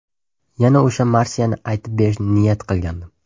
Yana o‘sha marsiyani aytib berishni niyat qilgandim.